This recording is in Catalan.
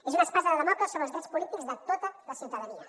és una espasa de dàmocles sobre els drets polítics de tota la ciutadania